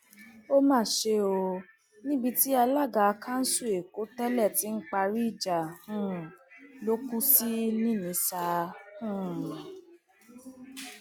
ó mà ṣe o níbi tí alága kanṣu èkó tẹlẹ ti ń parí ìjà um ló kù sí ní inísá um